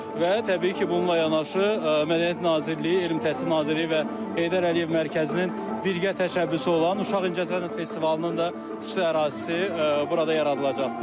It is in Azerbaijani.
Və təbii ki, bununla yanaşı mədəniyyət Nazirliyi, Elm Təhsil Nazirliyi və Heydər Əliyev Mərkəzinin birgə təşəbbüsü olan Uşaq İncəsənət Festivalının da xüsusi ərazisi burada yaradılacaqdır.